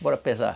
Bora pesar.